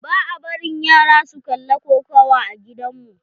Ba a barin yara su kalla kokawa a gidan mu.